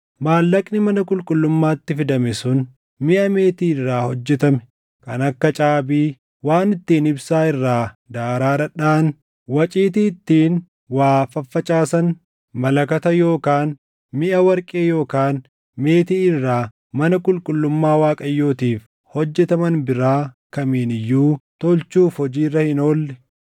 Maallaqni mana qulqullummaatti fidame sun miʼa meetii irraa hojjetame kan akka caabii, waan ittiin ibsaa irraa daaraa dhadhaʼan, waciitii ittiin waa faffacaasan, malakata yookaan miʼa warqee yookaan meetii irraa mana qulqullummaa Waaqayyootiif hojjetaman biraa kamiin iyyuu tolchuuf hojii irra hin oolle;